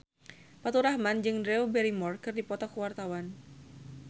Faturrahman jeung Drew Barrymore keur dipoto ku wartawan